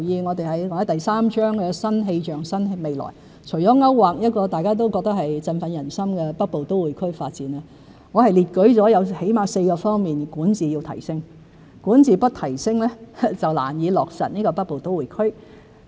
我在第三章"新氣象新未來"中，除了勾劃一個大家都認為振奮人心的北部都會區發展外，還列舉了最少有4個方面需要提升管治，若不提升便難以落實北部都會區。